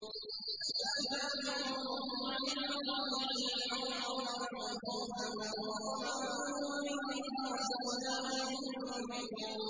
تَتَجَافَىٰ جُنُوبُهُمْ عَنِ الْمَضَاجِعِ يَدْعُونَ رَبَّهُمْ خَوْفًا وَطَمَعًا وَمِمَّا رَزَقْنَاهُمْ يُنفِقُونَ